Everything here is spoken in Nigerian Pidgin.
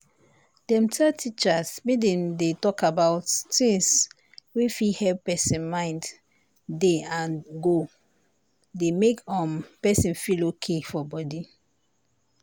dem tell teachers make dem dey talk about things wey fit help person mind dey and go dey make um person feel okay for body.